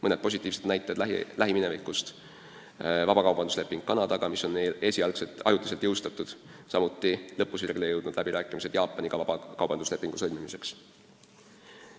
Mõned positiivsed näited lähiminevikust: vabakaubandusleping Kanadaga, mis on meil esialgselt ajutiselt jõustatud, samuti lõpusirgele jõudnud läbirääkimised Jaapaniga vabakaubanduslepingu sõlmimiseks.